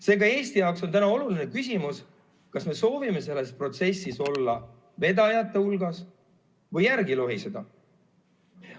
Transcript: Seega Eesti jaoks on oluline küsimus, kas me soovime selles protsessis olla vedajate hulgas või teiste järel lohiseda.